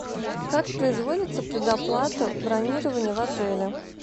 как производится предоплата бронирования в отеле